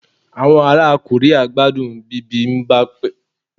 awọn ara Korea gbadun Bibimbap